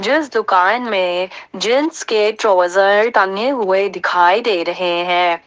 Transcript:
इस दुकान में जेंट्स के ट्राउजर टंगे हुए दिखाई दे रहे हैं।